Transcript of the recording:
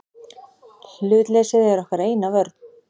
Hlutleysið er okkar eina vörn.